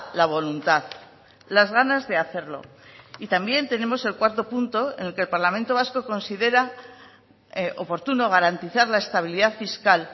la voluntad las ganas de hacerlo y también tenemos el cuarto punto en el que el parlamento vasco considera oportuno garantizar la estabilidad fiscal